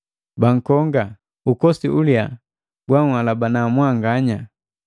Bankonga! Ukosi uliyaa gwanhalabana mwanganya.